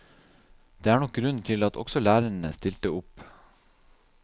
Det er nok grunnen til at også lærerne stilte opp.